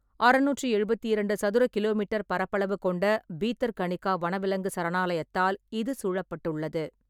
அறுநூற்றி எழுபத்தி இரண்டு சதுர கி.மீ. பரப்பளவு கொண்ட பீதர்கனிகா வனவிலங்கு சரணாலயத்தால் இது சூழப்பட்டுள்ளது.